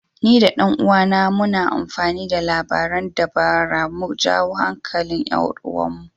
Ni da ɗan uwana muna amfani da labaran dabara mu jawo hankalin 'yar uwarmu.